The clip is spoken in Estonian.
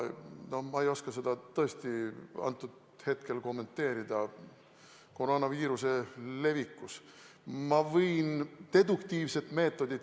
Ma ei oska seda süüdistust koroonaviiruse levitamises tõesti kommenteerida.